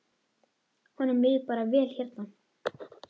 Honum líður bara vel hérna.